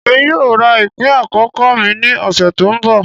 Emi yoo ra ipin akọkọ mi ni ọsẹ to nbọ.